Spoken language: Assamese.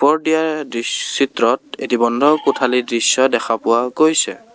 ওপৰত দিয়া দৃচ্ চিত্ৰত এটি বন্ধ কোঠালীৰ দৃশ্য দেখা পোৱা গৈছে।